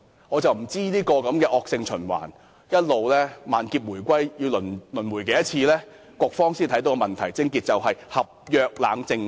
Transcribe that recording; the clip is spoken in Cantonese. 我不知道這惡性循環要一直萬劫回歸、輪迴多少次，局方才會明白問題癥結是不設立合約冷靜期。